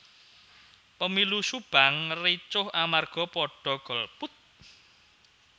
Pemilu Subang ricuh amarga podo golput